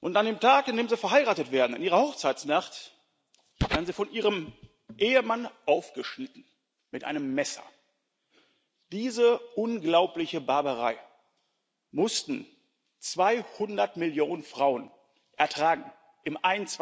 An dem Tag, an dem sie verheiratet werden, in ihrer Hochzeitsnacht, werden sie von ihrem Ehemann aufgeschnitten mit einem Messer. Diese unglaubliche Barbarei mussten 200 Millionen Frauen ertragen im